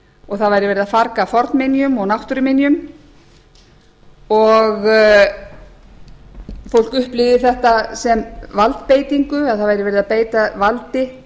og það væri verið að farga fornminjum og náttúruminjum og fólk upplifir þetta sem valdbeitingu það væri verið að beita valdi